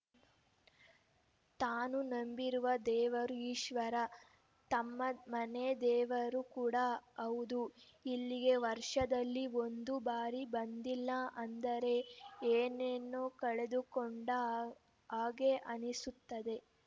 ತಾನು ನಂಬಿರುವ ದೇವರು ಈಶ್ವರ ತಮ್ಮ ಮನೆ ದೇವರು ಕೂಡಾ ಹೌದು ಇಲ್ಲಿಗೆ ವರ್ಷದಲ್ಲಿ ಒಂದು ಬಾರಿ ಬಂದಿಲ್ಲ ಅಂದರೆ ಏನನ್ನೋ ಕಳೆದುಕೊಂಡ ಹಾಗೆ ಅನ್ನಿಸುತ್ತದೆ